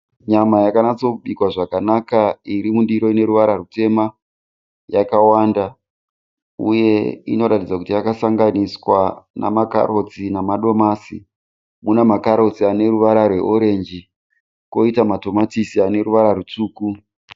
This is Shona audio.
Nyama yakanatsobikwa zvakanaka irimundiro ineruvara rwutema. Yakawanda uye inoratidza kuti yakasanganiswa namakarotsi namadomasi. Munanakarotsi aneruvara rweorenji koita matomatisi aneruvara rwutsvuku.